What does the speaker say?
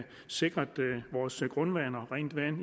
sikre vores grundvand og rent vand